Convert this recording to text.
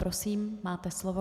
Prosím, máte slovo.